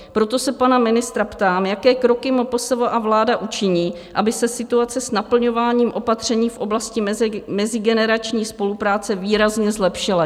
Proto se pana ministra ptám, jaké kroky MPSV a vláda učiní, aby se situace s naplňováním opatření v oblasti mezigenerační spolupráce výrazně zlepšila.